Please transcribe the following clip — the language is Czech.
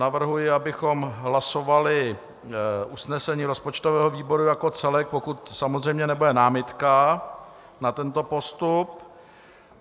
Navrhuji, abychom hlasovali usnesení rozpočtového výboru jako celek, pokud samozřejmě nebude námitka na tento postup.